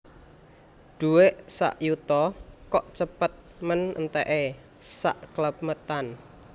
Duwek sak yuta kok cepet men entek e sakklemetan